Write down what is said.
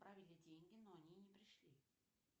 отправили деньги но они не пришли